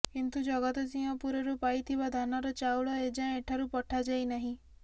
କିନ୍ତୁ ଜଗତସିଂହପୁରରୁ ପାଇଥିବା ଧାନର ଚାଉଳ ଏଯାଏଁ ଏଠାରୁ ପଠାଯାଇ ନାହିଁ